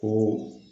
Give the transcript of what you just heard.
Ko